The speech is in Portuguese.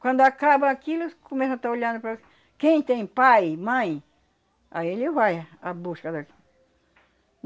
Quando acaba aquilo, começa a tá olhando para... Quem tem pai, mãe, aí ele vai a busca